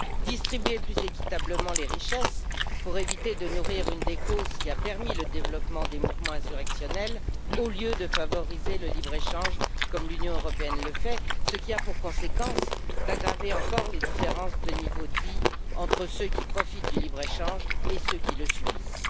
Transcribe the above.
distribuer plus équitablement les richesses pour éviter de nourrir une des causes qui a permis le développement des mouvements insurrectionnels au lieu de favoriser le libre échange comme l'Union européenne le fait, ce qui a pour conséquence d'aggraver encore les différences de niveaux de vie entre ceux qui profitent du libre échange et ceux qui le subissent.